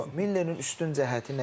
Millerin yox, Millerin üstün cəhəti nə idi?